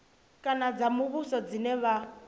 kana dza muvhuso dzine vha